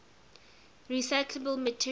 recyclable materials